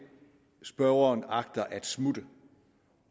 spørgeren agter at smutte